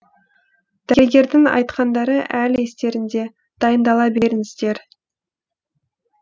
дәрігердің айтқандары әлі естерінде дайындала беріңіздер